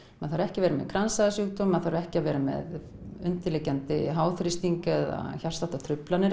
maður þarf ekki að vera með kransæðasjúkdóm maður þarf ekki að vera með undirliggjandi háþrýsting eða hjartsláttartruflanir